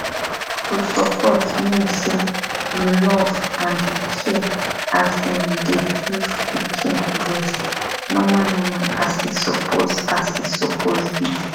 to support mean say you love and you care as im dey give pikin breast normal normal as e suppose as e suppose be